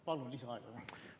Palun lisaaega!